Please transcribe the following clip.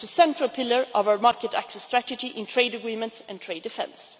It is a central pillar of our market access strategy in trade agreements and trade defence.